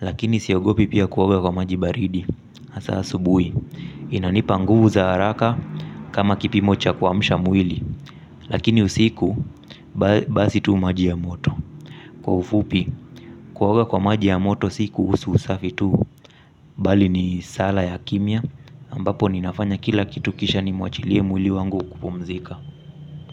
Lakini siogopi pia kuwoga kwa maji baridi, asa subui. Inanipa nguvu za haraka kama kipimo cha kwamsha mwili. Lakini usiku basi tu maji ya moto. Kwa ufupi kuaoga kwa maji ya moto siku husu usafi tu. Bali ni sala ya kimia ambapo ninafanya kila kitu kisha ni mwachilie mwili wangu kupumzika.